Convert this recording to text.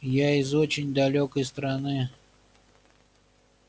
я из очень далёкой страны